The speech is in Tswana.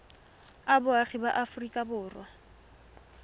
a boagi ba aforika borwa